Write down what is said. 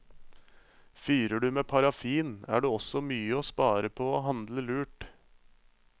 Fyrer du med parafin, er det også mye å spare på å handle lurt.